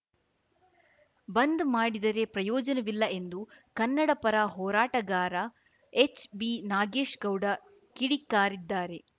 ಬಂದ್‌ ಮಾಡಿದರೆ ಪ್ರಯೋಜನವಿಲ್ಲ ಎಂದು ಕನ್ನಡಪರ ಹೋರಾಟಗಾರ ಎಚ್‌ಬಿನಾಗೇಶ್‌ ಗೌಡ ಕಿಡಿಕಾರಿದ್ದಾರೆ